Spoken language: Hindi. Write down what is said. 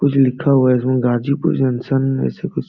कुछ लिखा हुआ है इसमें गाजीपुर जंक्शन ऐसे कुछ --